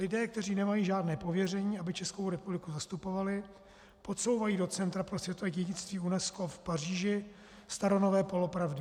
Lidé, kteří nemají žádné pověření, aby Českou republiku zastupovali, podsouvají do Centra pro světové dědictví UNESCO v Paříži staronové polopravdy.